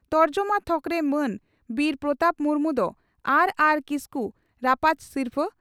ᱛᱚᱨᱡᱚᱢᱟ ᱛᱷᱚᱠᱨᱮ ᱢᱟᱱ ᱵᱤᱨ ᱯᱨᱚᱛᱟᱯ ᱢᱩᱨᱢᱩ ᱫᱚ ᱟᱨᱹᱟᱨᱹ ᱠᱤᱥᱠᱩ ᱨᱟᱯᱟᱡᱽ ᱥᱤᱨᱯᱷᱟᱹ